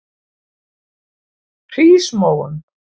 Hrísmóum